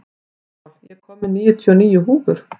Emanúel, ég kom með níutíu og níu húfur!